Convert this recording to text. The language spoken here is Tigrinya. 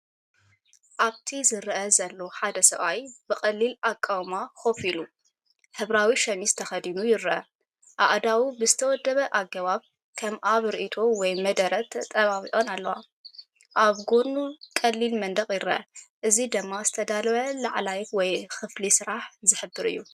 ኣብቲ ዝረአ ዘሎ ሓደ ሰብኣይ ብቐሊል ኣቃውማ ኮፍ ኢሉ፡ ሕብራዊ ሸሚዝ ተኸዲኑ ይርአ። ኣእዳዉ ብዝተወደበ ኣገባብ፡ ከም ኣብ ርእይቶ ወይ መደረ ተጣቢቐን ኣለዋ። ኣብ ጎድኑ ቀሊል መንደቕ ይርአ፣ እዚ ድማ ዝተዳለወ ዕላል ወይ ክፍሊ ስራሕ ዝሕብር እዩ።